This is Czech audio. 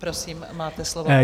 Prosím, máte slovo.